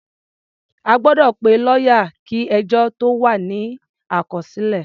A gbọ́dọ̀ pe lọ́yà kí ẹjọ́ tó wà ní àkọsílẹ̀.